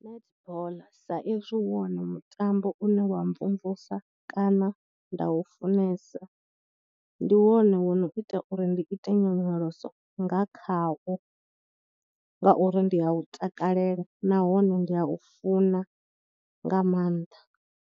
Netball sa ezwi wone mutambo une wa mvumvusa kana nda u funesa, ndi wone wo no ita uri ndi ite nyonyoloso nga khawo ngauri ndi a u takalela nahone ndi a u funa nga maanḓa.